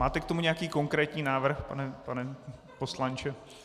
Máte k tomu nějaký konkrétní návrh, pane poslanče?